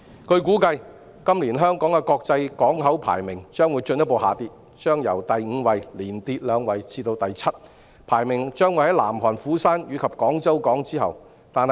據估計，今年香港的國際港口排名將進一步下跌，由第五位連跌兩位至第七位，排名在南韓釜山和廣州港之後。